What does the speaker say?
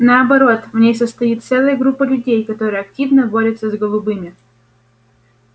наоборот в ней состоит целая группа людей которая активно борется с голубыми